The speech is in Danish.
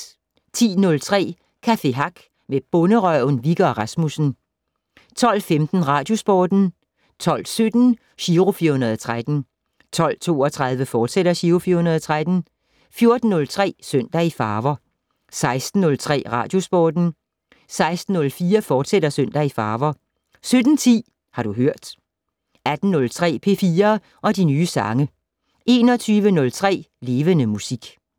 10:03: Café Hack med Bonderøven, Wikke og Rasmussen 12:15: Radiosporten 12:17: Giro 413 12:32: Giro 413, fortsat 14:03: Søndag i farver 16:03: Radiosporten 16:04: Søndag i farver, fortsat 17:10: Har du hørt 18:03: P4 og de nye sange 21:03: Levende Musik